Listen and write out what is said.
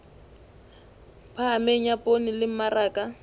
phahameng ya poone le mmaraka